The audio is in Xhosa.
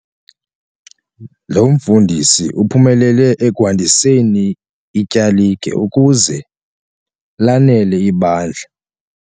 Lo mfundisi uphumelele ekwandiseni ityalike ukuze lanele ibandla.